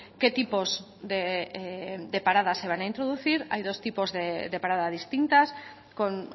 qué tipos de paradas se van a introducir hay dos tipos de parada distintas con